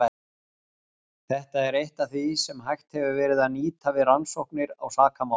Þetta er eitt af því sem hægt hefur verið að nýta við rannsóknir á sakamálum.